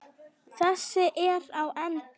Þessi er á enda.